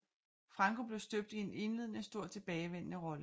Franco blev støbt i en indledende stor tilbagevendende rolle